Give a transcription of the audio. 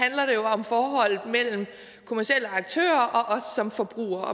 om forholdet mellem kommercielle aktører og os som forbrugere og